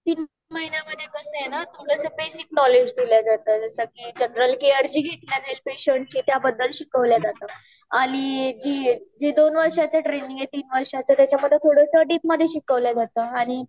तीन महिन्यांमधे कस आहे न बसिक नॉलेज दिल जात जस जनरल केयर जी घेता येईल पेशंट ची त्या बद्दल शिकवल जात आणि जी दोन वर्षांची ट्रेनिंग आहे तीन वर्षाची त्याच्या मधे थोडस डीप मधे शिकवल जाता